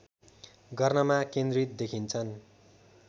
गर्नमा केन्द्रित देखिन्छन्